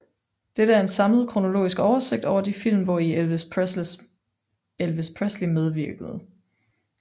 Dette er en samlet kronologisk oversigt over de film hvori Elvis Presley medvirkede